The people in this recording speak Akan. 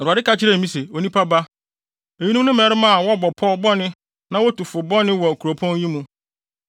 Awurade ka kyerɛɛ me se, “Onipa ba, eyinom ne mmarima a wɔbɔ pɔw bɔne na wotu fo bɔne wɔ kuropɔn yi mu.